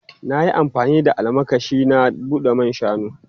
Na yi amfani da almakashi na bude man shanu.